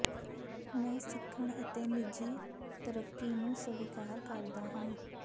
ਮੈਂ ਸਿੱਖਣ ਅਤੇ ਨਿੱਜੀ ਤਰੱਕੀ ਨੂੰ ਸਵੀਕਾਰ ਕਰਦਾ ਹਾਂ